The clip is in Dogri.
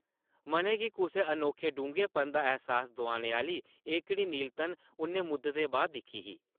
मनै गी कुसै अनोखे डूंह्गेपन दा ऐहसास दोआने आह्ली एह्कड़ी नीलतन उʼन्नै मुद्दतें बाद दिक्खी ही ।